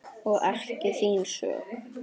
Og ekki þín sök.